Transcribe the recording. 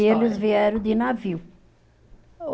Eles vieram de navio.